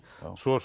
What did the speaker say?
svo